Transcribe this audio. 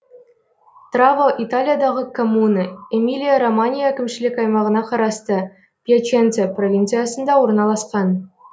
траво италиядағы коммуна эмилия романья әкімшілік аймағына қарасты пьяченца провинциясында орналасқан